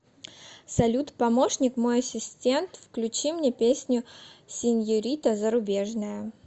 салют помощник мой ассистент включи мне песню сеньорита зарубежная